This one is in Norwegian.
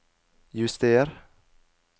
juster